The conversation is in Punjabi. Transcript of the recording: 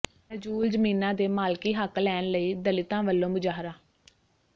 ਨਜ਼ੂਲ ਜ਼ਮੀਨਾਂ ਦੇ ਮਾਲਕੀ ਹੱਕ ਲੈਣ ਲਈ ਦਲਿਤਾਂ ਵੱਲੋਂ ਮੁਜ਼ਾਹਰਾ